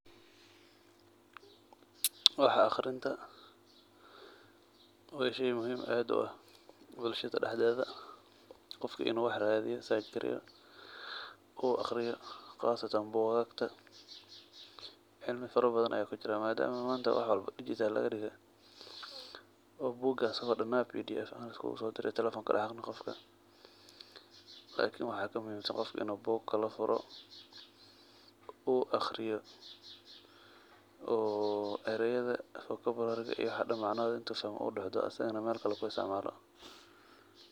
Wixi muhiim uah bulshada dhexdeda qofka inu radiyo uu aqriyo qasatan bugagta cimli fara badan aya kujira madama manta wax walbo digital lagadige oo bugas damaan pdf ahaan lagusodirayo telefonka qofka waxa kamuhiim san in u buga kalafuro oo uaqriyo oo ereyada vocabulary usaxdo oo uu meel kale kuisticmalo.